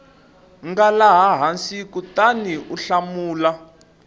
nga laha hansi kutaniu hlamula